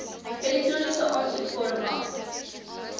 elektroniese aansoekvorm af